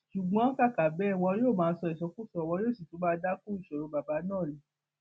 ṣùgbọn kàkà bẹẹ wọn yóò má sọ ìsọkúsọ wọn yóò sì tún máa dá kún ìṣòro bàbá náà ni